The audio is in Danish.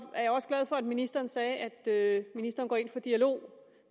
jeg er også glad for at ministeren sagde at ministeren går ind for dialog